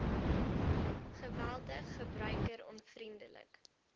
geweldig gebruiker onvriendelik